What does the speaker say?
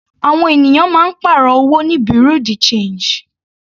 Àwọn ènìyàn máa ń pàrọ̀ owó ní bureau de change.